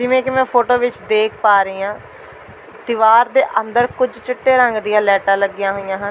ਜਿਵੇਂ ਕਿ ਮੈਂ ਫੋਟੋ ਵਿਚ ਦੇਖ ਪਾ ਰਹੀਂ ਹਾਂ ਦੀਵਾਰ ਦੇ ਅੰਦਰ ਕੁੱਝ ਚਿੱਟੇ ਰੰਗ ਦੀਆਂ ਲਾਈਟਾਂ ਲੱਗੀਆਂ ਹੋਈਆਂ ਹਨ।